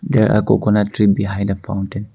they are coconut tree behind the fountain.